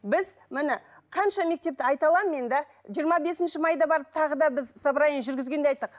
біз міне қанша мектепті айта аламын мен да жиырма бесінші майда барып тағы да біз собрание жүргізгенде айттық